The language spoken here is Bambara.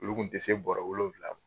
Olu kun ti se bɔrɔ wolonfila